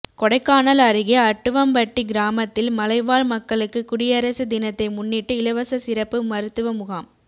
கொடைக்கானல் அருகே அட்டுவம்பட்டி கிராமத்தில் மலைவாழ் மக்களுக்கு குடியரசு தினத்தை முன்னிட்டு இலவச சிறப்பு மருத்துவ முகாம்